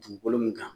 Dugukolo min kan